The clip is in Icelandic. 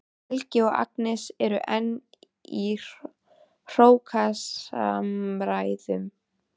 Helgi og Agnes eru enn í hrókasamræðum.